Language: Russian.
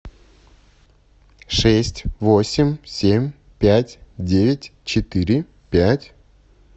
шесть восемь семь пять девять четыре пять